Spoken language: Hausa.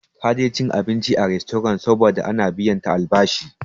Ta je cin abinci a rastorant saboda an biya ta albashi.